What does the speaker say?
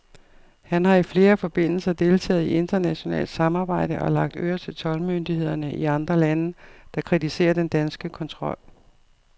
Han har i flere forbindelser deltaget i internationalt samarbejde og lagt øre til toldmyndighederne i andre lande, der kritiserer den danske kontrol.